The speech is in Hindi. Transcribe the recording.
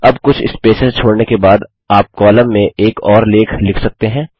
अब कुछ स्पेसेस छोड़ने के बाद आप कॉलम में एक और लेख लिख सकते हैं